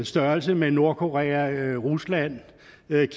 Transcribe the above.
størrelse med nordkorea rusland